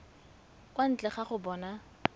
kwa ntle ga go bona